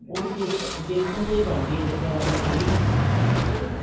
ਉਹ ਵੀ ਬੇਸਨ ਬੇਸਨ ਤੋਂ ਹੀ ਬਣਦੀ ਹੈ ਗੱਟਿਆ ਵਲੀ ਕੜ੍ਹੀ ਵੀ ਉਹਦੇ ਵਿੱਚ